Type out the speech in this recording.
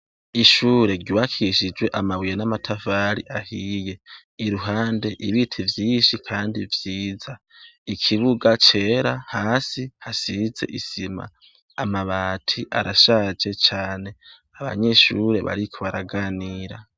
Ishure ryuwakishijwe amabuye n'amatavari ahiye iruhande ibita ivyinshi, kandi vyiza ikibuga cera hasi hasize isima amabati arashaje cane abanyishure bariko baraganira.